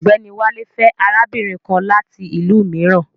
Ọ̀gbẹ́ni Wálé fẹ́ arábìnrin kan láti ìlú mìíràn